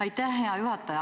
Aitäh, hea juhataja!